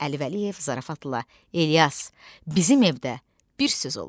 Əli Vəliyev zarafatla, İlyas, bizim evdə bir söz olur.